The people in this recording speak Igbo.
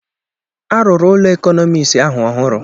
A rụrụ ụlọ ekọnọmiks ahụ ọhụrụ